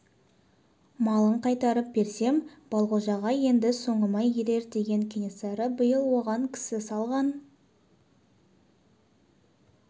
малын қайтарып берсем балғожа енді соңыма ерер деген кенесары биыл оған кісі салған